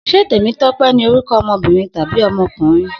Se Temitope ni oruko omobirin tabi omokunrin?